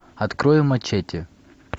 открой мачете